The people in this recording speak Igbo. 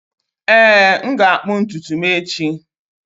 Ee, m ga-akpụ ntutu m echi